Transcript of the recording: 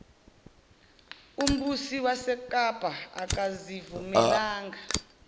umbusi wasekapa akazivumelanga